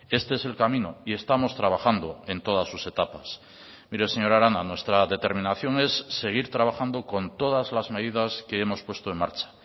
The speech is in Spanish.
este es el camino y estamos trabajando en todas sus etapas mire señora arana nuestra determinación es seguir trabajando con todas las medidas que hemos puesto en marcha